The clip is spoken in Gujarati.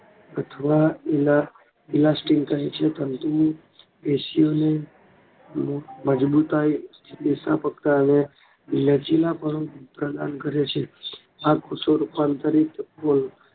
અથવા કહેછે પરંતુ પેશીઓને મજબૂતાઈ લચીલાપણું પ્રદાન કરે છે આ કોષો રૂપાંતરિક